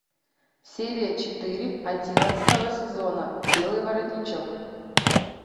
серия четыре одиннадцатого сезона белый воротничок